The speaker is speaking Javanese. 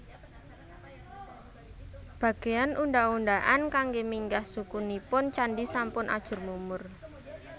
Bagéyan undhak undhakan kanggé minggah suku nipun candhi sampun ajur mumur